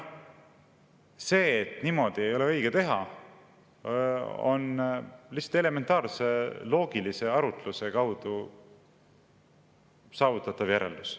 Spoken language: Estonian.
See, et niimoodi ei ole õige teha, on lihtsalt elementaarse ja loogilise arutluse kaudu saavutatav järeldus.